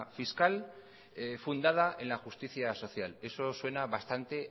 fiscal fundada en la justicia social eso suena bastante